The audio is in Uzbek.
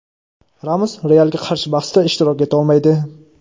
Ramos "Real"ga qarshi bahsda ishtirok eta olmaydi.